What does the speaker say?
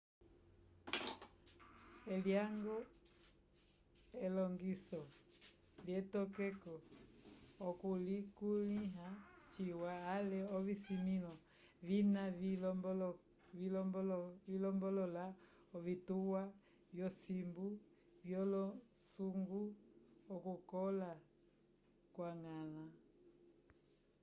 elyañgo elongiso lyetokeko okulikulĩha ciwa ale ovisimĩlo vina vilombolola ovituwa vyosimbu vyolosuku okukola kwa ñgala